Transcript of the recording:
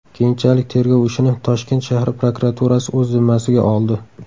Keyinchalik tergov ishini Toshkent shahar prokuraturasi o‘z zimmasiga oldi.